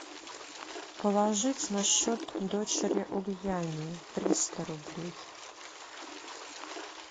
положить на счет дочери ульяне триста рублей